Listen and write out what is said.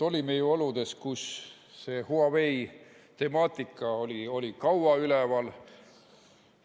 Olime ju oludes, kus see Huawei temaatika oli kaua üleval.